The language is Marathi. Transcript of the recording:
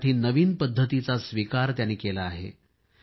यासाठी नवीन पद्धतीचा स्वीकार त्यांनी केला आहे